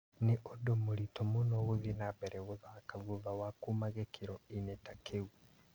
Nĩ ũndũ mũritũ mũno gũthiĩ na mbere gũthaka thutha wa kuma gĩkĩro-inĩ ta kĩu